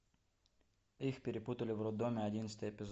их перепутали в роддоме одиннадцатый эпизод